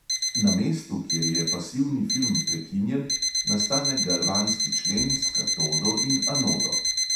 Na mestu, kjer je pasivni film prekinjen, nastane galvanski člen s katodo in anodo.